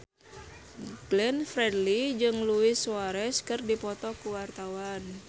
Glenn Fredly jeung Luis Suarez keur dipoto ku wartawan